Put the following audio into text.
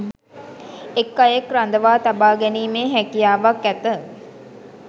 එක් අයෙක් රඳවා තබා ගැනීමේ හැකියාවක් ඇත